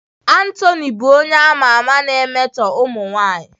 Anthony bụ onye a ma ama na-emetọ ụmụ nwanyị